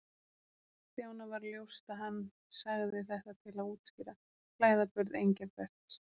Stjána varð ljóst að hann sagði þetta til að útskýra klæðaburð Engilberts.